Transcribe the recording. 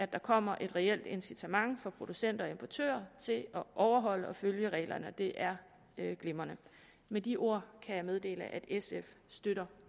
kommer et reelt incitament for producenter og importører til at overholde og følge reglerne og det er glimrende med de ord kan jeg meddele at sf støtter